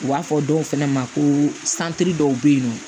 U b'a fɔ dɔw fɛnɛ ma ko dɔw be yen nɔ